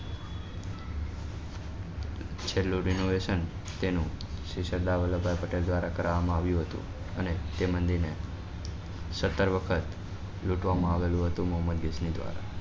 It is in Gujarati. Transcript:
છેલ્લું તેનું શ્રી સરદાર વલ્લભભાઈ પટેલ દ્વારા કરવા માં આવ્યું હતું અને તે મંદિર ને સત્તર વખત લૂટવા માં આવેલું હતું મોમાંન્દીપ્સ નાં દ્વારા